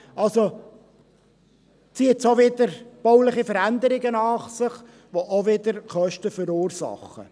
Es zieht somit bauliche Veränderungen nach sich, die auch wieder Kosten verursachen.